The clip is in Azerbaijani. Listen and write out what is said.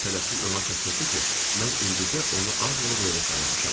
Tələsik ona çatdırdı ki, mən indicə onu az qala duelə çağırmışam.